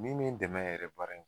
Min bɛ n dɛmɛ yɛrɛ baara in